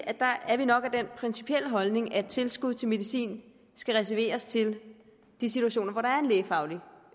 at vi nok er af den principielle holdning at tilskud til medicin skal reserveres til de situationer hvor der er en lægefaglig